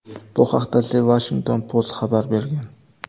Bu haqda The Washington Post xabar bergan .